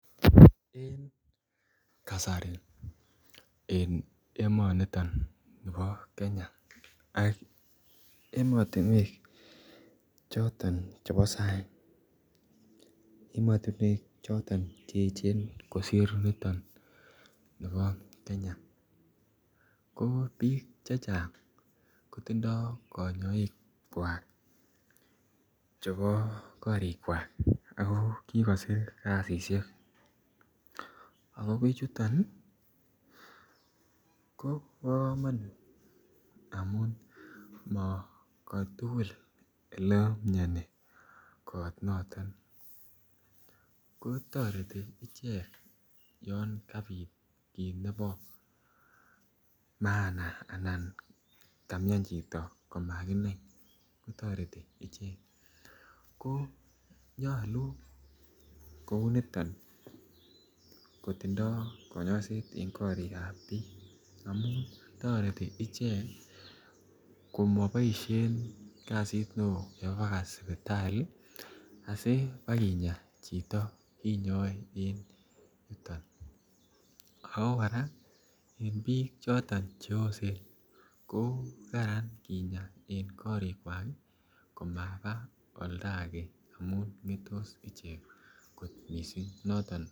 En kasari en emoni bo Kenya ak emotinwek choton chebo sang ak emotinwek choton Che echen kosir niton bo Kenya ko bik chechang kotindoi konyoik kwak chebo korikwak ako kikosir kasisyek ako bichuto ko bo komonut amun mo ko tugul Ole miani ko toreti ichek olon kabit kit nebo maana olon kamian chito komakinai toreti ichek amun nyolu kouniton kotindoi kanyoiset en korigab bik amun tindoi ichek ko moboisien kasit neo keba baka sipitali asi keba kinyaa chito kinyoe en yuton ago kora en bik choton oosen ko Kararan kinyaa en korikwak koma oldo age kinyaa ichek kot mising